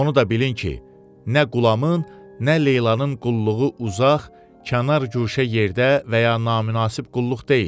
Onu da bilin ki, nə Qulamın, nə Leylanın qulluğu uzaq, kənar güşə yerdə və ya naminəsib qulluq deyil.